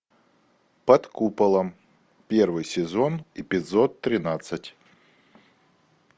под куполом первый сезон эпизод тринадцать